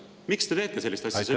Miks te teete sellist asja?